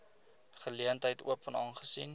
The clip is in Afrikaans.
geleentheid open aangesien